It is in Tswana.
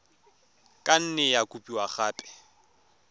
ka nne ya kopiwa gape